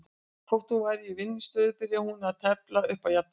Þótt hún væri í vinningsstöðu byrjaði hún að tefla upp á jafntefli.